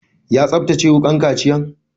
Ya tsaftace wukan kaciyan?